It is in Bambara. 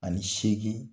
Ani seegin